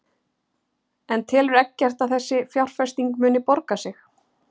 En telur Eggert að þessi fjárfesting muni borga sig?